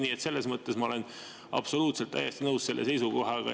Nii et selles mõttes ma olen absoluutselt, täiesti nõus selle seisukohaga.